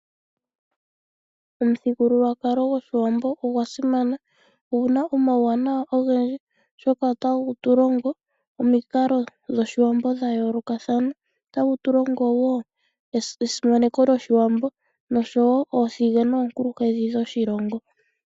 Omuthigululwakalo gwoshiwambo ogwa simana. Owuna omauwanawa ogendji, oshoka otawu tulongo omikalo dhoshiwambo dhayoolokathana. Otawu tulongo wo esimaneko lyoshiwambo, noshowo oothige, noonkulunkedhi dhoshilongo.